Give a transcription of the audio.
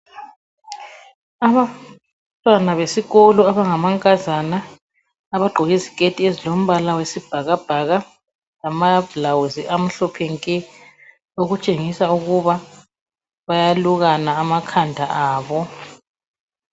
Abantwana besikolo abangamankazana abagqoke iziketi ezilombala wesibhakabhaka lama bhulawuzi amhlophe nke. Okutshengisa ukuba bayalukana amakhanda abo.